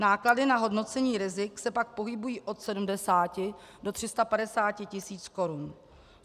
Náklady na hodnocení rizik se pak pohybují od 70 do 350 tis. korun.